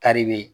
Kari bɛ yen